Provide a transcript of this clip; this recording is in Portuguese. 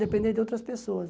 Depender de outras pessoas.